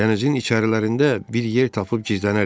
Dənizin içərilərində bir yer tapıb gizlənərik.